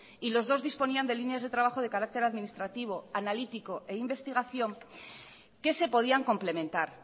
y los dos disponían de líneas de trabajo de carácter administrativo analítico e investigación que se podían complementar